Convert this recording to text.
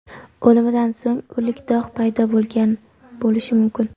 O‘limidan so‘ng o‘lik dog‘ paydo bo‘lgan bo‘lishi mumkin.